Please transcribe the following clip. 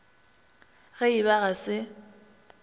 ge e ba ga se